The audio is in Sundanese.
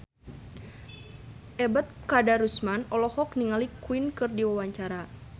Ebet Kadarusman olohok ningali Queen keur diwawancara